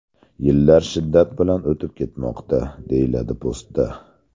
Yillar shiddat bilan o‘tib ketmoqda...” deyiladi postda.